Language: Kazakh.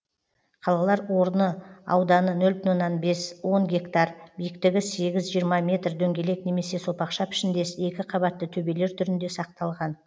қалалар орны ауданы нөл бүтін оннан бес он гектар биіктігі сегіз жиырма метр дөңгелек немесе сопақша пішіндес екі қабатты төбелер түрінде сақталған